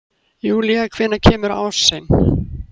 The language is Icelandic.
Júlía, hvenær kemur ásinn?